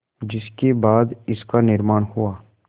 जिसके बाद इसका निर्माण हुआ